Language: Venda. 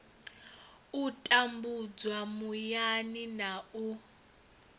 u tambudzwa muyani na u